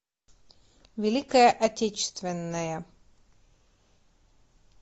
великая отечественная